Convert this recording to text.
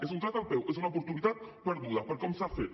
és un tret al peu és una oportunitat perduda per com s’ha fet